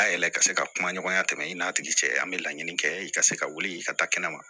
A yɛlɛ ka se ka kuma ɲɔgɔnya tɛmɛ i n'a tigi cɛ an be laɲini kɛ i ka se ka wuli i ka taa kɛnɛ ma